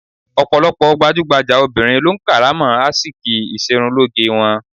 Ọ̀pọ̀lọpọ̀ gbajúgbajà obìnrin lo ń kárà mọ́ ásìkí ìṣerunlóge wọn.